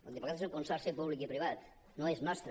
el diplocat és un consorci públic i privat no és nostre